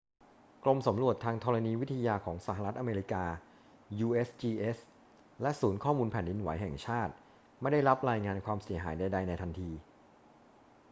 กรมสำรวจทางธรณีวิทยาของสหรัฐอเมริกา usgs และศูนย์ข้อมูลแผ่นดินไหวแห่งชาติไม่ได้รับรายงานความเสียหายใด ๆ ในทันที